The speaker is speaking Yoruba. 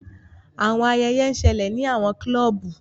Awọn ayẹyẹ n ṣẹlẹ ni awọn clubu.